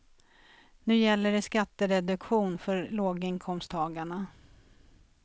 Nu gäller det skattereduktion för låginkomsttagarna.